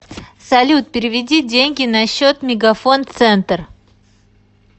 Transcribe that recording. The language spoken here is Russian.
салют переведи деньги на счет мегафон центр